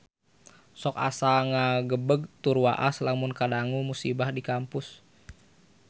Sok asa ngagebeg tur waas lamun ngadangu musibah di Kampus Unpar